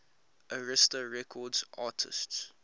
arista records artists